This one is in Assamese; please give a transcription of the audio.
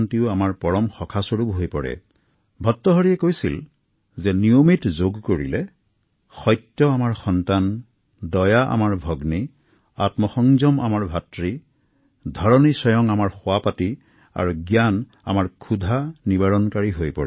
ভাৰতাহৰিয়ে কৈছিল যে নিয়মিত যোগাভ্যাসৰ ফলত সত্য আমাৰ সন্তান দয়া আমাৰ ভগ্নী আত্ম সংযম আমাৰ ভাতৃ পৃথিৱী আমাৰ বিচনা হৈ পৰে আৰু জ্ঞানে আমাৰ ক্ষুধা পূৰণ কৰে